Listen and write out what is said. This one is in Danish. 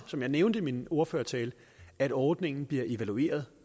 som jeg nævnte i min ordførertale at ordningen bliver evalueret